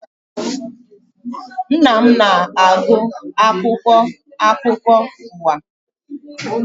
Nna m na-agụ akwụkwọ akụkọ ụwa